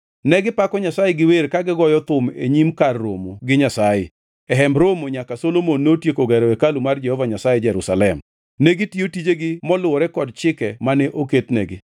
Negipako Nyasaye gi wer ka gigoyo thum e nyim kar romo gi Nyasaye, e Hemb Romo nyaka Solomon notieko gero hekalu mar Jehova Nyasaye Jerusalem. Negitiyo tijegi moluwore kod chike mane oketnegi.